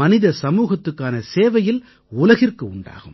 மனித சமூகத்துக்கான சேவையில் உலகிற்கு உண்டாகும்